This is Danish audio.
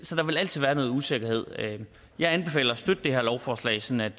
så der vil altid være noget usikkerhed jeg anbefaler at støtte det her lovforslag sådan